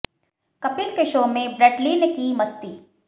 कपिल के शो में Brett Lee ने की मस्ती